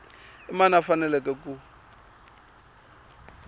i mani a faneleke ku